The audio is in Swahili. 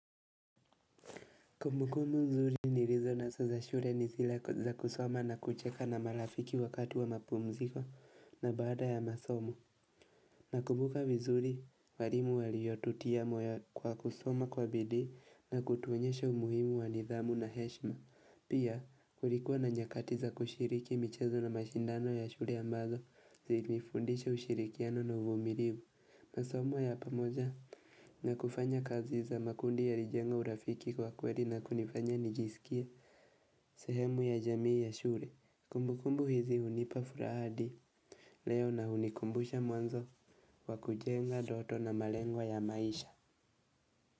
Kumbukumbu nzuri nilizo naso za shure ni zile za kusoma na kucheka na marafiki wakati wa mapumziko na baada ya masomo. Nakumbuka vizuri walimu waliyotutia moyo kwa kusoma kwa bidii na kutuonyesha umuhimu wa nidhamu na heshma. Pia kulikuwa na nyakati za kushiriki michezo na mashindano ya shure ambazo zilifundisha ushirikiano na uvumirivu. Masomo ya pamoja na kufanya kazi za makundi yalijenga urafiki kwa kweli na kunifanya nijisikie sehemu ya jamii ya shure kumbukumbu hizi hunipa furaha adi leo na unikumbusha mwanzo wa kujenga doto na malengwa ya maisha.